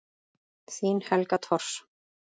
Þín Helga Thors.